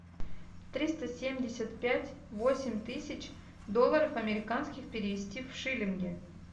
триста семьдесят пять восемь тысяч долларов американских перевести в шиллинги